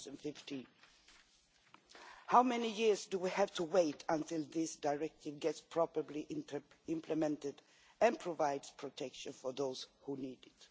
2015. How many years do we have to wait until this Directive is properly implemented and provides protection for those who need it?